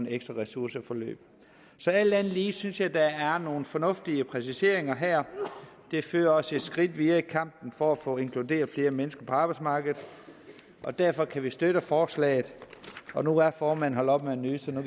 et ekstra ressourceforløb så alt andet lige synes jeg der er nogle fornuftige præciseringer her det fører os et skridt videre i kampen for at få inkluderet flere mennesker på arbejdsmarkedet og derfor kan vi støtte forslaget nu er formanden holdt op med at nyse så nu